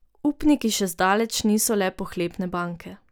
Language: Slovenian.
Upniki še zdaleč niso le pohlepne banke.